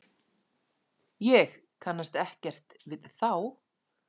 Ég kannast ekkert við þá.